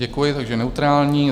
Děkuji, takže neutrální.